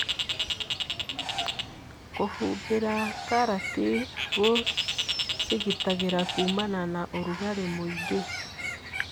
Kũhumbĩra karati gũcigitagĩra kumana na ũrugarĩmũingĩ.